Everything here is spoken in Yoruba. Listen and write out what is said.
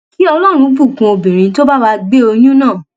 kí ọlọrun bùkún obìnrin tó bá wá gbé oyún náà